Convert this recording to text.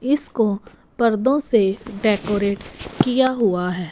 इसको पर्दों से डेकोरेट किया हुआ है।